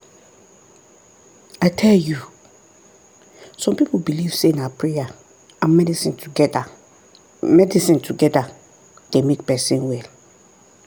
i tell you! some people believe say na prayer and medicine together medicine together dey make person well.